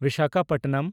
Visakhapatnam